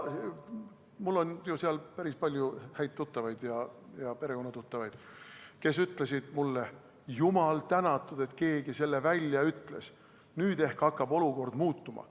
Mul on ju seal päris palju häid tuttavaid ja perekonnatuttavaid, kes ütlesid mulle: "Jumal tänatud, et keegi selle välja ütles, nüüd ehk hakkab olukord muutuma.